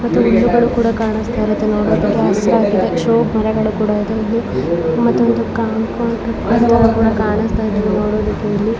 ಮತ್ತೆ ಹುಲ್ಲುಗಳು ಕೂಡ ಕಾಣಿಸ್ತಾಯಿದ್ದಾವೆ ನೋಡೋದಿಕ್ಕೆ ಹಚ್ಚ ಹಸಿರಾಗಿವೆ ಶೋ ಮರಗಳು ಕೂಡ ಇವೆ ಇಲ್ಲಿ ಮತ್ತೆ ಒಂದು ಕಾಂಪೌಂಡ್ ತಾರಾ ಕೂಡ ಕಾಣಿಸ್ತಾಇದೆ ನೋಡೋದಿಕ್ಕೆ ಇಲ್ಲಿ.